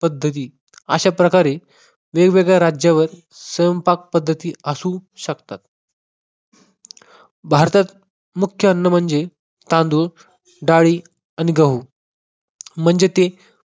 पद्धती अशा प्रकारे वेगवेगळ्या राज्यावर स्वयंपाक पद्धती असू शकतात. भारतात मुख्य अन्न म्हणजे तांदुळ, डाळी आणि गहू. म्हणजे ते